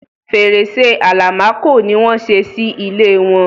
Fèrèsé Àlàmákò ni wọ́n ṣé sí ilẹ̀ wọn.